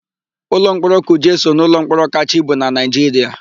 Ụlọmkpọrọ Kuje so n'ụlọmkpọrọ kachaa ibu na Naịjiria.